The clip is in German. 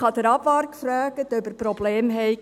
Ich habe den Abwart gefragt, ob er Probleme hat.